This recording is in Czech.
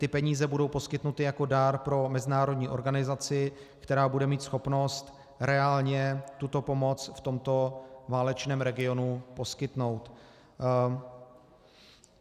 Ty peníze budou poskytnuty jako dar pro mezinárodní organizaci, která bude mít schopnost reálně tuto pomoc v tomto válečném regionu poskytnout.